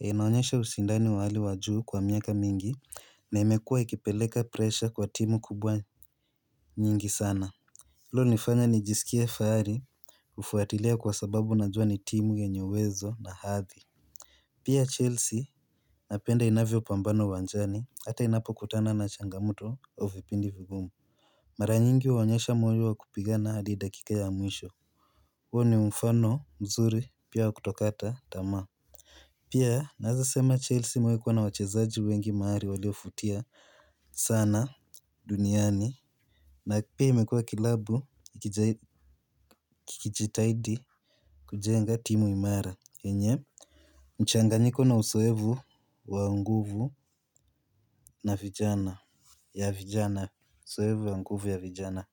Unaonyesha ushindani wa hali wa juu kwa miaka mingi na imekuwa ikipeleka presha kwa timu kubwa nyingi sana. Hilo ilinifanya nijisikia fahari kufuatilia kwa sababu najua ni timu yenye uwezo na hathi. Pia Chelsea napenda inavyo pambana uwanjani ata inapo kutana na changamoto au vipindi vigumu mara nyingi waonyesha moyo wa kupigana hadi dakika ya mwisho huo ni mfano mzuri pia wa kutokata tamaa pia naweza sema Chelsea imewai kuwa na wachezaji wengi maari waliofutia sana duniani na pia imekuwa klabu kikijitahidi kujenga timu imara yenye mchanganyiko na uzoefu wa nguvu na vijana ya vijana, uzoevu wa nguvu ya vijana.